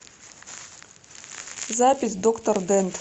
запись доктор дент